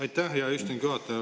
Aitäh, hea istungi juhataja!